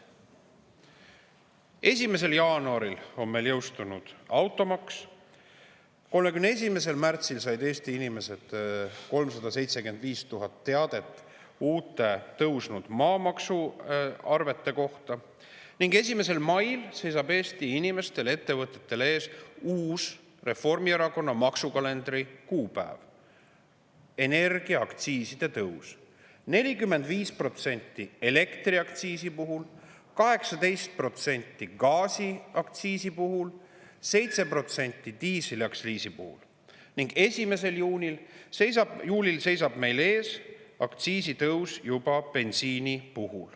1. jaanuaril on meil jõustunud automaks, 31. märtsil said Eesti inimesed 375 000 teadet tõusnud maamaksuarvete kohta ning 1. mail seisab Eesti inimestel ja ettevõtjatel ees Reformierakonna maksukalendri uus, energiaaktsiiside tõus – 45% elektriaktsiisi puhul, 18% gaasiaktsiisi puhul, 7% diisliaktsiisi puhul –, ning 1. juulil seisab meil ees bensiiniaktsiisi tõus.